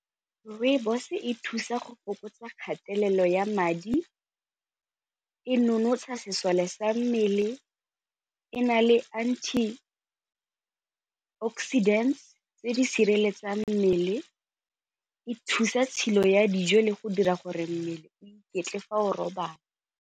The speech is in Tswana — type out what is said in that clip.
Rooibos e thusa go fokotsa kgatelelo ya madi, e nonotsha sesole sa mmele, e na le anti oxidant tse di sireletsang mmele, e thusa tshilo ya dijo le go dira gore mmele o iketle fa o robala.